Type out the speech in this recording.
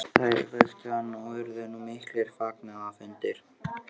Þau vöktu hann og urðu nú miklir fagnaðarfundir.